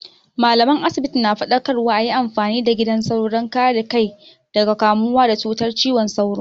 Mallaman asibiti na faɗakarwa a yi amfani da gidan sauro don kare kai daga kamuwa da cutar cizon sauro.